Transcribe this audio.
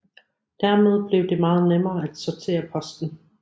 Dermed blev det meget nemmere at sortere posten